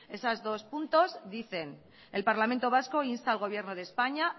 esos dos puntos dicen el parlamento vasco insta al gobierno de españa